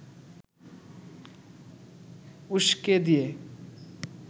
উসকে দিয়ে